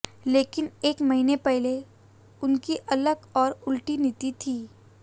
लेकिन एक महीने पहले उनकी अलग और उल्टी नीति थी